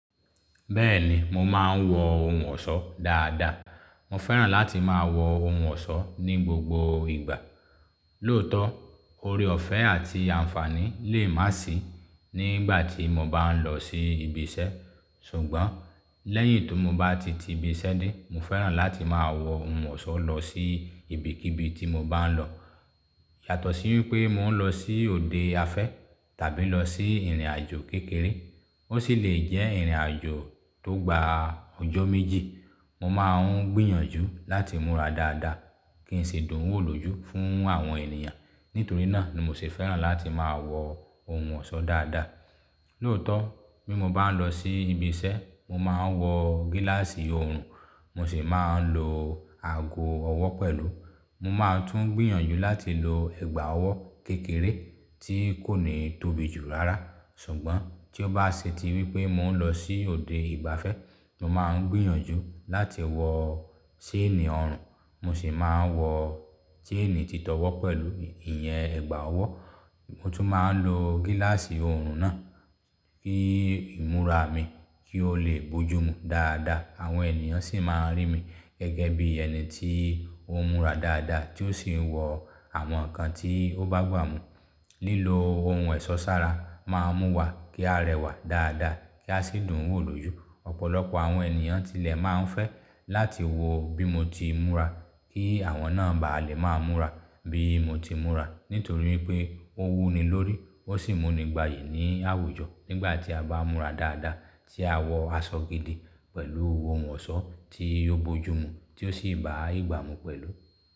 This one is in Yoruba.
Bẹ́ẹ̀ni, mo máa ń wọ ohun ọ̀ṣọ́ dáadáa. Mo fẹ́ràn láti máa wọ ohun ọ̀ṣọ́ ní gbogbo ìgbà. Lóòótọ́, oore ọ̀fẹ́ àti àǹfàní lè má sì í nígbà tí mo bá ń lọ sí ibi iṣẹ́, ṣùgbọ́n lẹ́yìn tó mo bá ti ti ibi iṣẹ́ dé, mo fẹ́ràn láti máa wọ ohun ọ̀ṣọ́ lọ sí ibikíbi tí mo bá ń lọ. Yàtọ̀ sí wípé mò ń lọ sí òde afẹ́ tàbí lọ sí ìrìnàjò kékeré, ó sì lè jẹ́ ìrìnàjò tó gba ọjọ́ méjì, mo máa ń gbìyànjú láti múra dáadáa kí n sì dùn wò lójú fún àwọn ènìyàn. Nítorí náà ni mo sì fẹ́ràn láti máa wọ ohun ọ̀ṣọ́ dáadáa. Lóòótọ́, bí mo bá ń lọ sí ibi iṣẹ́, mo máa ń wọ gíláàsì ọrùn, mo sì máa ń lo ago ọwọ́ pẹ̀lú. Mo máa tún gbìyànjú láti lo ẹ̀gbà ọwọ́ kékeré tí kò ní tóbi jù rárá. Ṣùgbọ́n tí ó bá ṣe tí wípé mò ń lọ sí òde ìgbafẹ́, mo máa ń gbìyànjú láti wọ ṣéènì ọrùn, mo sì máa ń wọ ṣéènì títọ́wọ́ pẹ̀lú ìyẹn ẹ̀gbà ọwọ́. Mo tún máa ń lo gíláàsì ọrùn náà kí ìmúra mi kí ó lè bójú mu dáadáa. Àwọn ènìyàn sì máa ń rí mi gẹ́gẹ́ bí ẹni tí ó ń múra dáadáa tí ó sì ń wọ àwọn nǹkan tí ó bá gbà mú. Lílo ohun ẹ̀sọ́ sára máa mú wa kí á rẹwà dáadáa kí a sì dùn wò lójú. Ọ̀pọ̀lọpọ̀ àwọn ènìyàn tilẹ̀ máa ń fẹ́ láti wọ bí mo ti múra kí àwọn náà ba lè máa múra bí mo ti múra. Nítorí wípé ó wú ni lórí, ó sì mú ni gbàyì ní àwùjọ nígbà tí a bá múra dáadáa tí a wọ aṣọ gidi pẹ̀lú ohun ọ̀ṣọ́ tí yóò bójú mu tí ó sì bá ìgbà mú pẹ̀lú.